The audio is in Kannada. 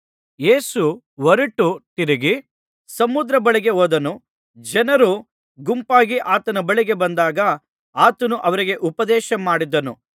ಯೇಸು ಹೊರಟು ತಿರುಗಿ ಸಮುದ್ರದ ಬಳಿಗೆ ಹೋದನು ಜನರು ಗುಂಪಾಗಿ ಆತನ ಬಳಿಗೆ ಬಂದಾಗ ಆತನು ಅವರಿಗೆ ಉಪದೇಶ ಮಾಡಿದನು